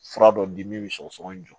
Fura dɔ di min bɛ sɔgɔsɔgɔnijɛ jɔ